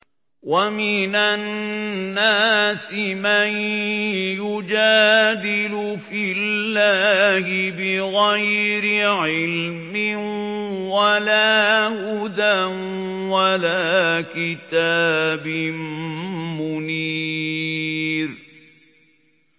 وَمِنَ النَّاسِ مَن يُجَادِلُ فِي اللَّهِ بِغَيْرِ عِلْمٍ وَلَا هُدًى وَلَا كِتَابٍ مُّنِيرٍ